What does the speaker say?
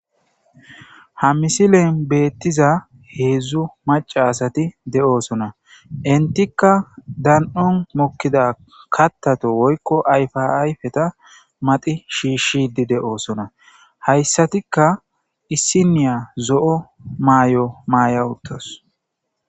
ha misilen beettiza heedzdzu maca asati de7oosona intikka dan7on mokkida kattato woykko ayfa ayfeta mati shiishidi de7oosona hayssatikka issiniya zo7o maay7o maaya uttos